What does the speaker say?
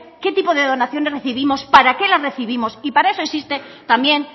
qué tipo de donaciones recibimos para qué las recibimos y para eso existe también